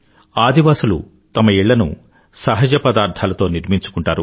ఆదివాసులు తమ ఇళ్ళను సహజపదార్థాలతో నిర్మించుకుంటారు